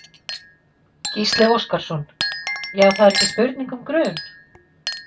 Gísli Óskarsson: Já það er ekki spurning um grun?